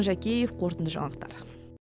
жакиев қорытынды жаңалықтар